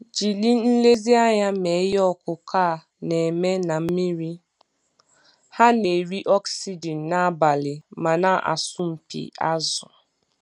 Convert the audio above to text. Jiri nlezianya mee ihe ọkụkụ a na-eme na mmiri - ha na-eri oxygen n'abalị ma na-asọmpi azụ.